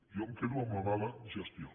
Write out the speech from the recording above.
jo em quedo amb la mala gestió